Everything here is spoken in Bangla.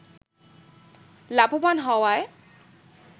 লাভবান হওয়ায়